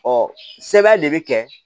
sɛbɛn de bɛ kɛ